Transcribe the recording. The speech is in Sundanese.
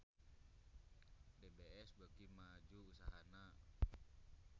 DBS beuki maju usahana